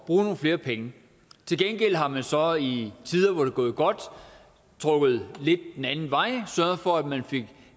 bruge nogle flere penge til gengæld har man så i tider hvor det er gået godt trukket lidt den anden vej sørget for at man fik